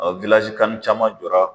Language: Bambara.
CAN caman jɔra.